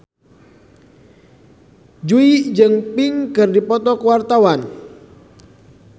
Jui jeung Pink keur dipoto ku wartawan